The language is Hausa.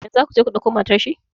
Yanzu za ku je ku dauko matar shi?